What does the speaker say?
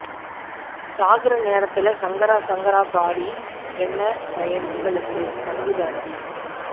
சாகுற நேரத்துலே சங்கர சங்கர பாடி என்ன பயன் உங்களுக்கு சங்கு தாண்டி